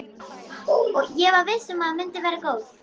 Ég var viss um að myndin væri góð.